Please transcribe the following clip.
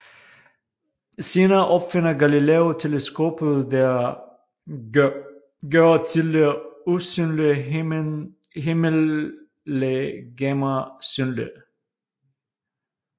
Senere opfinder Galileo teleskopet der gør tidligere usynlige himmellegemer synlige